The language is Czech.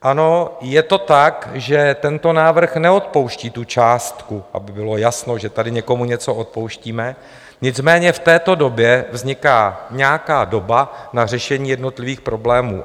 Ano, je to tak, že tento návrh neodpouští tu částku, aby bylo jasno, že tady někomu něco odpouštíme, nicméně v této době vzniká nějaká doba na řešení jednotlivých problémů.